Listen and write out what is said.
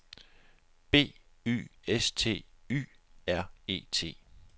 B Y S T Y R E T